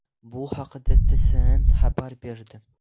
Bu haqda TSN xabar berdi .